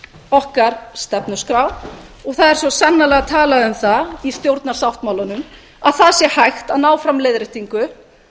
okkar stefnuskrá og það er svo sannarlega talað um það í stjórnarsáttmálanum að það sé hægt að ná fram leiðréttingu